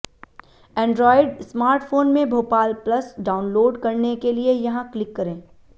Android smartphone में Bhopal plus download करने के लिए यहां क्लिक करें